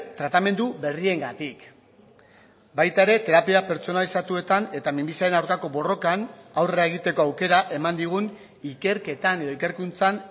tratamendu berriengatik baita ere terapia pertsonalizatuetan eta minbiziaren aurkako borrokan aurrera egiteko aukera eman digun ikerketan edo ikerkuntzan